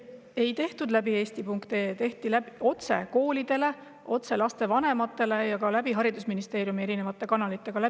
Ei tehtud eesti.ee kaudu, koole ja lapsevanemaid otse ja haridusministeeriumi erinevate kanalite kaudu.